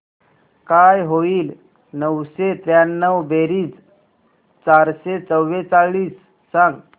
काय होईल नऊशे त्र्याण्णव बेरीज चारशे चव्वेचाळीस सांग